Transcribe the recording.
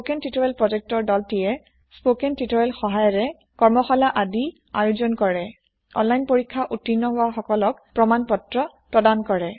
spoken tutorial project তিমে কৰ্মশা্লা আয়োজন কৰে স্পকেন তিউতৰিয়েল ব্যৱহাৰ কৰি অনলাইন পৰীক্ষা উত্তিৰ্ণ কৰা সকলক চাৰ্তিফিকেত দিয়ে